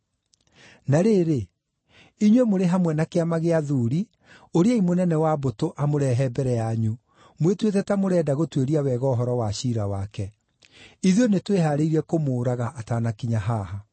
Na rĩrĩ, inyuĩ mũrĩ hamwe na Kĩama gĩa Athuuri ũriai mũnene wa mbũtũ amũrehe mbere yanyu, mwĩtuĩte ta mũrenda gũtuĩria wega ũhoro wa ciira wake. Ithuĩ nĩtwĩhaarĩirie kũmũũraga atanakinya haha.”